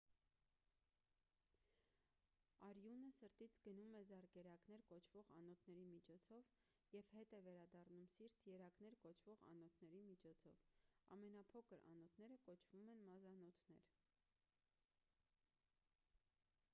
արյունը սրտից գնում է զարկերակներ կոչվող անոթների միջոցով և հետ է վերադառնում սիրտ երակներ կոչվող անոթների միջոցով ամենափոքր անոթները կոչվում են մազանոթներ